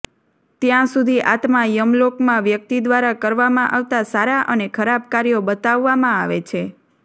ત્યાં સુધી આત્મા યમલોકમાં વ્યક્તિ દ્વારા કરવામાં આવતા સારા અને ખરાબ કાર્યો બતાવવામાં આવે છે